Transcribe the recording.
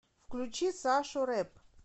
включи сашу рэп